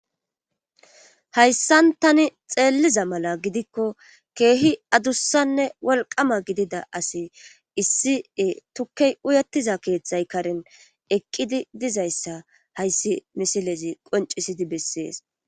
hayssan tani xeelliza mala gidikko keehi adussanne wolqama gidida asi issi tukkey uyettiza keeththay karin eqqidi dizayssa hayssi misilezi qoncisidi bessees